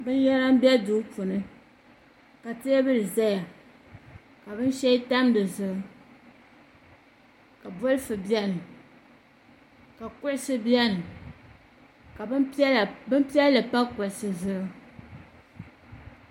Binyɛra n bɛ duu puuni ka teebuli ʒɛya ka binshɛli tam dizuɣu ka bolfu biɛni ka kuɣusi biɛni ka bin piɛlli pa kuɣusi zuɣu